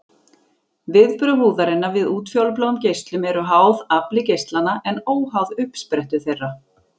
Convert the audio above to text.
Viðbrögð húðarinnar við útfjólubláum geislum eru háð afli geislanna en óháð uppsprettu þeirra.